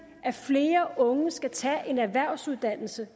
at flere unge skal tage en erhvervsuddannelse